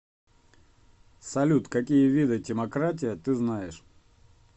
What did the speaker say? салют какие виды тимократия ты знаешь